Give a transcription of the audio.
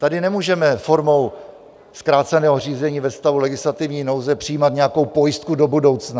Tady nemůžeme formou zkráceného řízení ve stavu legislativní nouze přijímat nějakou pojistku do budoucna.